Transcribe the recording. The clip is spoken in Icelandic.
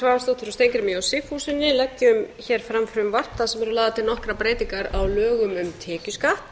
steingrímur j sigfússon leggjum hér fram frumvarp þar sem eru lagðar til nokkrar breytingar á lögum um tekjuskatt